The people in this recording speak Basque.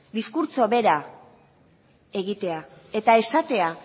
diskurtso bera egitea eta esatea